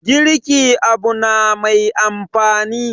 girki Abu na Mai amfani